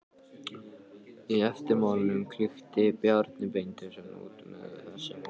Í eftirmálanum klykkti Bjarni Beinteinsson út með þessum orðum